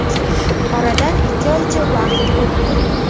Oradan ikki oycha vaqt o‘tdi.